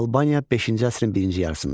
Albaniya V əsrin birinci yarısında.